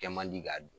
Kɛ man di k'a don